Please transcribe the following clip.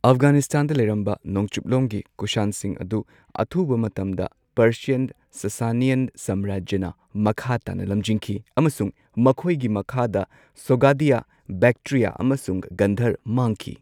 ꯑꯐꯒꯥꯅꯤꯁꯇꯥꯟꯗ ꯂꯩꯔꯝꯕ ꯅꯣꯡꯆꯨꯞꯂꯣꯝꯒꯤ ꯀꯨꯁꯥꯟꯁꯤꯡ ꯑꯗꯨ ꯑꯊꯨꯕ ꯃꯇꯝꯗ ꯄꯔꯁꯤꯌꯥꯟ ꯁꯁꯅꯤꯌꯥꯟ ꯁꯥꯝꯔꯥꯖ꯭ꯌꯅ ꯃꯈꯥ ꯇꯥꯅ ꯂꯝꯖꯤꯡꯈꯤ ꯑꯃꯁꯨꯡ ꯃꯈꯣꯏꯒꯤ ꯃꯈꯥꯗ ꯁꯣꯒꯗꯤꯌꯥ, ꯕꯦꯛꯇ꯭ꯔꯤꯌ ꯑꯃꯁꯨꯡ ꯒꯟꯙꯔ ꯃꯥꯡꯈꯤ꯫